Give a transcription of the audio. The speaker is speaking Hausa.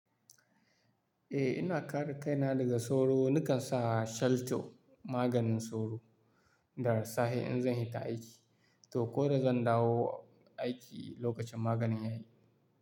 Eh ina kara kaina daga sauro, nakan sa shelto maganin sauro da rassahe in zan yi ta aiki. To ko da zan dawo aiki lokacin maganin ya yi.